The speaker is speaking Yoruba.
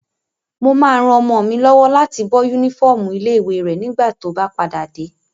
Mo máa ran ọmọ mi lọ́wọ́ láti bọ́ yúnífọ́ọ̀mù ilé-ìwé rẹ̀ nígbà tó bá padà dé